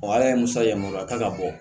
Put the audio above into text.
ala ye musa yamaruya ta ka bɔ